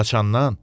Haçandan?